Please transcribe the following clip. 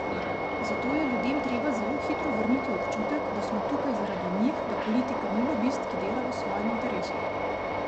Zato je ljudem treba zelo hitro vrniti občutek, da smo tukaj zaradi njih, da politika ni lobist, ki dela v svojem interesu.